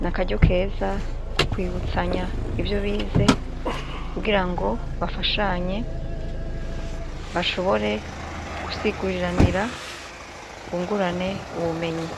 N' akaryo keza ko kwibutsanya ivyo bize, kugirango bafashanye bashobore gusiguriranira, bungurane ubumenyi.